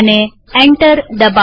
enter દબાવીએ